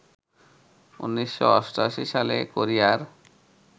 ১৯৮৮ সালে কোরিয়ার